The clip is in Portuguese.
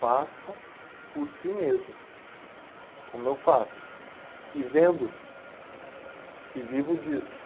Façam por si mesmos, como eu faço, e vendo, e vivo disso.